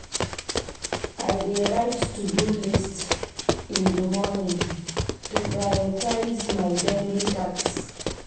I dey write to-do list in the morning to prioritize my daily tasks.